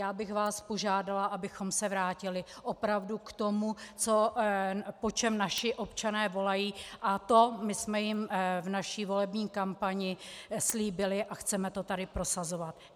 Já bych vás požádala, abychom se vrátili opravdu k tomu, po čem naši občané volají, a to my jsme jim v naší volební kampani slíbili a chceme to tady prosazovat.